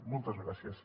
moltes gràcies